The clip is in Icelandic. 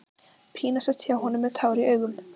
Pína sest hjá honum með tár í augum.